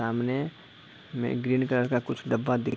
सामने में एक ग्रीन कलर का कुछ डब्बा दी--